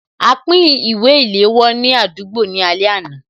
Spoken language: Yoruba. A pín ìwé ìléwọ́ ní àdúgbò ní alẹ́ àná